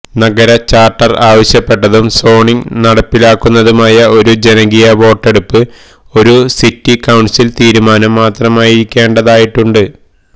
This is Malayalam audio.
നഗര ചാർട്ടർ ആവശ്യപ്പെട്ടതും സോണിംഗ് നടപ്പിലാക്കുന്നതുമായ ഒരു ജനകീയ വോട്ടെടുപ്പിന് ഒരു സിറ്റി കൌൺസിൽ തീരുമാനം മാത്രമായിരിക്കേണ്ടതായിട്ടുണ്ട്